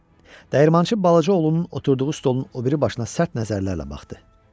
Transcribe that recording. Dəyirmançı balaca oğlunun oturduğu stolun o biri başına sərt nəzərlərlə baxdı.